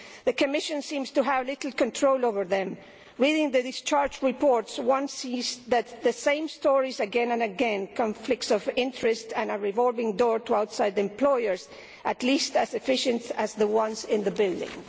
The Commission seems to have little control over them, which means that, in the discharge reports, one sees the same stories again and again conflicts of interest and a revolving door to outside employers at least as efficient as the ones in this building.